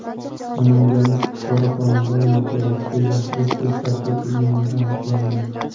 Namanganlik fuqaro xonadon yerto‘lasida yashirin sex tashkil qilganligi aniqlandi.